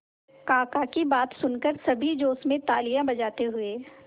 काका की बात सुनकर सभी जोश में तालियां बजाते हुए